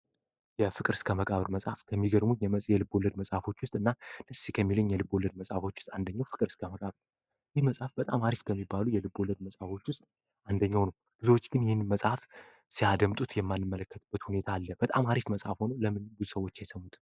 የፍቅር እስከ መቃብር መፅሀፍ ከሚገርሙን የልብ ወለድ የፍቅር መጻፍቶች ውስጥ የመጽሐፍት የተማሪዎች ከሚባሉ የፍቅር መጽሀፎች ውስጥ አንዱ ነው ይህንን መጽሐፍ ጡት ብዙ ጊዜ የምንመለከትበት ሁኔታ አለ የፍቅር ታሪክ ለምንድነው የማያደምጡት?